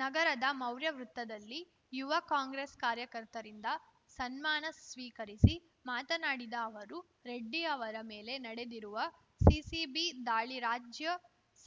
ನಗರದ ಮೌರ್ಯ ವೃತ್ತದಲ್ಲಿ ಯುವ ಕಾಂಗ್ರೆಸ್‌ ಕಾರ್ಯಕರ್ತರಿಂದ ಸನ್ಮಾನ ಸ್ವೀಕರಿಸಿ ಮಾತನಾಡಿದ ಅವರು ರೆಡ್ಡಿ ಅವರ ಮೇಲೆ ನಡೆದಿರುವ ಸಿಸಿಬಿ ದಾಳಿ ರಾಜ್ಯ